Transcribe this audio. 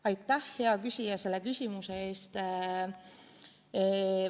Aitäh, hea küsija, selle küsimuse eest!